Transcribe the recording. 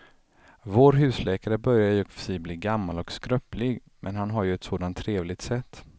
Vår husläkare börjar i och för sig bli gammal och skröplig, men han har ju ett sådant trevligt sätt!